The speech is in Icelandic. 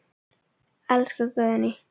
Elsku Guðný.